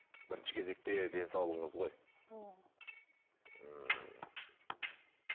бірінші кезекте денсаулығыңыз ғой ммм ммм